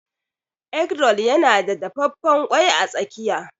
Egg roll yana da dafaffen ƙwai a tsakiya.